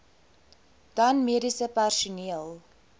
dan mediese personeel